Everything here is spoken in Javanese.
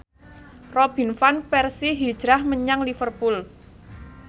Robin Van Persie hijrah menyang Liverpool